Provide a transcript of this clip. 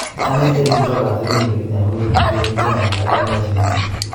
Anee Erick njoka asirindet lakini akonori musuek en Kenya ako achame kazit Nenyun